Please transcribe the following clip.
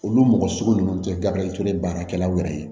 Olu mɔgɔ sugu ninnu tɛ gabiriyante baarakɛlaw yɛrɛ ye